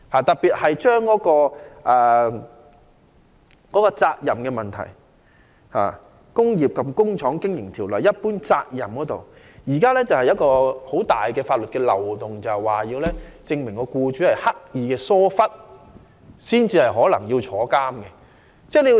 特別是，在責任問題上，《工廠及工業經營條例》中有關一般責任的條文現時存在很大漏洞，因為控方須證明僱主刻意疏忽，僱主才有可能遭判處監禁。